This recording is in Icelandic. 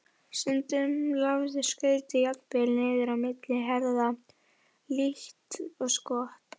Stundum lafði skautið jafnvel niður á milli herða líkt og skott.